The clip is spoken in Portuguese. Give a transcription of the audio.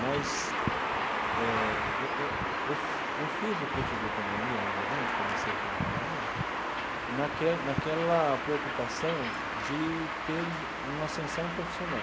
Mas eh eu eu eu eu fiz o curso de economia, na verdade, comecei o curso de economia, naquela naquela preocupação de ter uma ascensão profissional.